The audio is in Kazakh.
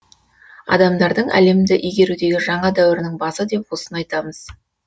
адамдардың әлемді игерудегі жаңа дәуірінің базы деп осыны айтамыз